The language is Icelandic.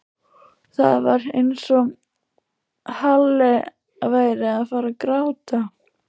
Það var eins og Halli væri að fara að gráta.